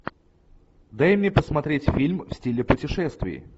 дай мне посмотреть фильм в стиле путешествий